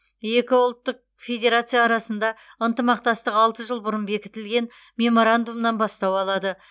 екі ұлттық федерация арасында ынтымақтастық алты жыл бұрын бекітілген меморандумнан бастау алады